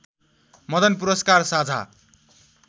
मदन पुरस्कार साझा